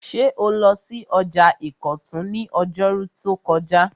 Ṣé o lọ sí ọjà ìkọ̀tún ní ọjọ́rú tó kọjá?